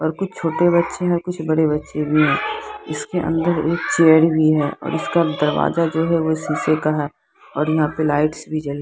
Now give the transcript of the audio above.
और कुछ छोटे बच्चे है कुछ बड़े बच्चे भी है इसके अंदर एक चेयर भी है और इसका दरवाजा जो है वो शीशे का है और यहाँ पे लाइट्स भी जल--